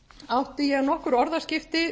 átti ég nokkur orðaskipti